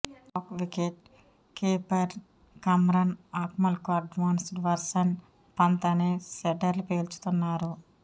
Pak wicket keeper Kamran అక్మల్కు advanced version Pant అని సెటైర్లు పేల్చుతున్నారు